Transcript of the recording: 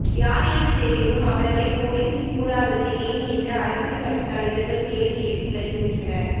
யார் என்று தெரிந்தும் அவரகளை போலீசில் கூறாதது ஏன் என்று அரசியல் கட்சி தலைவர்கள் கேள்வி எழுப்பி வருகின்றனர்